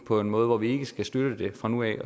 på en måde hvor vi ikke skal støtte det fra nu af